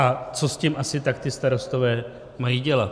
A co s tím asi tak ti starostové mají dělat?